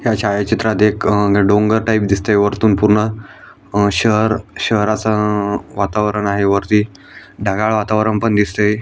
ह्या छायाचित्रात एक डोंगर टाइप दिसतय वरतून पूर्ण शहर शहराच वातावरण आहे वरती ढगाळ वातावरण पण दिसतय.